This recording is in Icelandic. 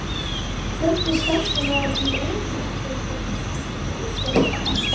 Fjöldi starfsmanna í öryggiseftirlitinu var settur á námskeið eftir þetta?